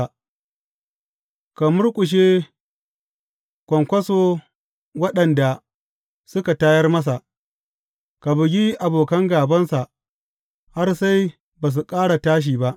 Ka murƙushe kwankwaso waɗanda suka tayar masa; ka bugi abokan gābansa har sai ba su ƙara tashi ba.